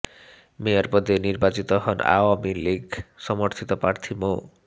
mayor পদে নির্বাচিত হন আওয়ামী লীগ সমর্থিত প্রার্থী মো